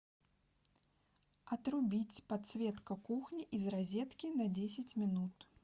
отрубить подсветка кухни из розетки на десять минут